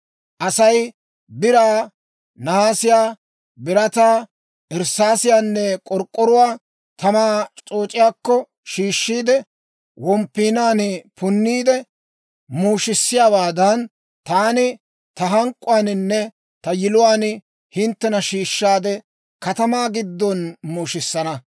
Asay biraa, naasiyaa, birataa, irssaasiyaanne k'ork'k'oruwaa tamaa c'ooc'iyaakko shiishshiide womppiinaan punniide muushissiyaawaadan, taani ta hank'k'uwaaninne ta yiluwaan hinttena shiishshaade, katamaa giddon muushisanna.